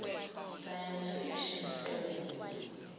science fiction films